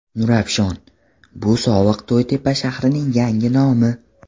Nurafshon bu sobiq To‘ytepa shahrining yangi nomi.